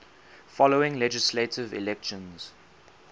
following legislative elections